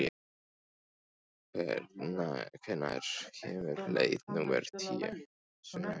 Snævarr, hvenær kemur leið númer tíu?